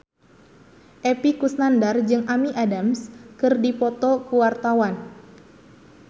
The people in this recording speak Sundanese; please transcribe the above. Epy Kusnandar jeung Amy Adams keur dipoto ku wartawan